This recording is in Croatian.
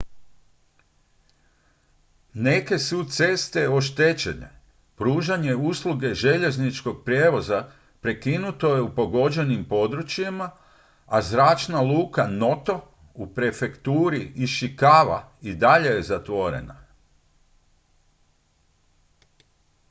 neke su ceste oštećene pružanje usluge željezničkog prijevoza prekinuto je u pogođenim područjima a zračna luka noto u prefekturi ishikawa i dalje je zatvorena